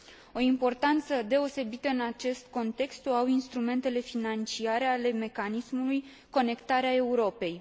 O importanță deosebită în acest context o au instrumentele financiare ale mecanismului Conectarea Europei.